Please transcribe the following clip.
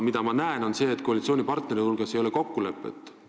Mina aga näen, et koalitsioonipartnerite hulgas ei ole kokkulepet.